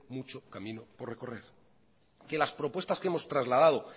mucho camino por recorrer que las propuestas que hemos trasladado